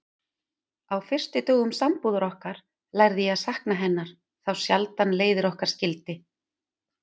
Á fyrstu dögum sambúðar okkar lærði ég að sakna hennar þá sjaldan leiðir okkar skildi.